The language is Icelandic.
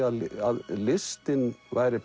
að listin væri